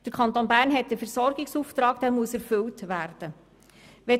Der Kanton Bern hat einen Versorgungsauftrag, der erfüllt werden muss.